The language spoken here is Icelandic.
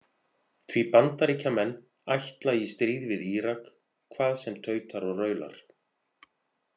Því Bandaríkjamenn ætla í stríð við Írak hvað sem tautar og raular.